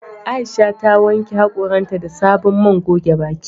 Aisha ta wanke hakoran ta da sabon man goge baki."